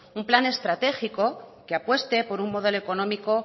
un plan estratégico que apueste por un modelo económico